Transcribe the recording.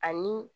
Ani